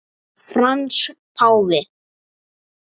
Frans páfi